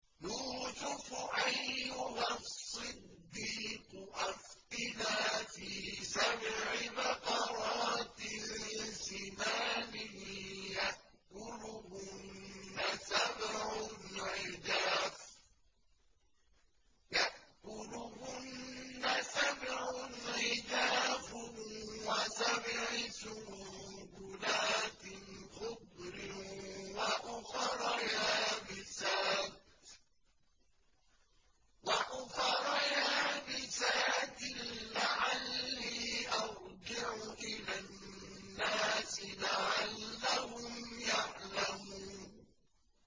يُوسُفُ أَيُّهَا الصِّدِّيقُ أَفْتِنَا فِي سَبْعِ بَقَرَاتٍ سِمَانٍ يَأْكُلُهُنَّ سَبْعٌ عِجَافٌ وَسَبْعِ سُنبُلَاتٍ خُضْرٍ وَأُخَرَ يَابِسَاتٍ لَّعَلِّي أَرْجِعُ إِلَى النَّاسِ لَعَلَّهُمْ يَعْلَمُونَ